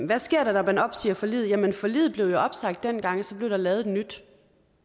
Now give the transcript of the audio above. hvad sker der når man opsiger forliget jamen forliget blev jo opsagt dengang og så blev der lavet et nyt